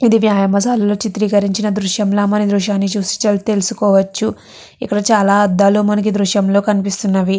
ఇది వ్యాయామశాలలో చిత్రీకరించిన దృశ్యం లాగా మనం ఈ దృశ్యాన్ని చూసి చాలా తెలుసుకోవచ్చు. ఇక్కడ చాలా అద్దాలు మనకి ఈ దృశ్యం లో కనిపిస్తున్నాయి.